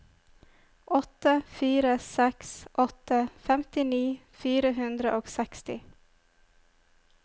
åtte fire seks åtte femtini fire hundre og seksti